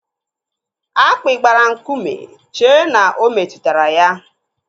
Akpi gbara nkume chee na o metụtara ya.